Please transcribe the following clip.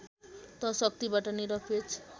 त शक्तिबाट निरपेक्ष